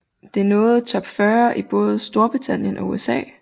Det nåede top 40 i både STORBRITANNIEN og USA